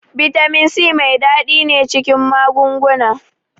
Bitamin C mai ɗadi ne cikin magunguna.